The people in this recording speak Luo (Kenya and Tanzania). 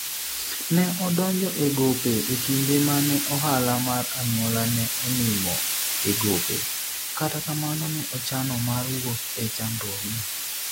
ne odonjo e gope e kinde mane ohala mar anyuola ne onimo e gope, kata kamano ne ochano mar wuok e chandruok no